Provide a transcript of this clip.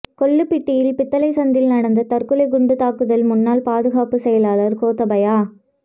கொள்ளுப்பிட்டி பித்தளை சந்தியில் நடந்த தற்கொலை குண்டுத்தாக்குதல் முன்னாள் பாதுகாப்புச் செயலாளர் கோத்தபாய